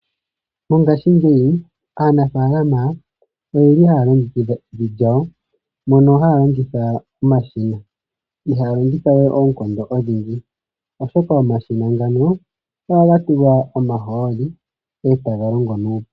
Mongaashingeyi aanafaalama oyeli haya longekidha evi lyawo mono haya longitha omashina ,ihaya longitha we oonkondo odhindji oshoka omashina ngano ohaga tulwa omahooli etaga longo.